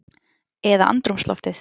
Eða andrúmsloftið?